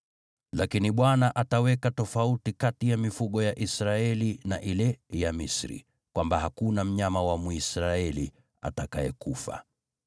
Lakini Bwana ataweka tofauti kati ya mifugo ya Israeli na ile ya Misri, kwamba hakuna mnyama wa Mwisraeli atakayekufa.’ ”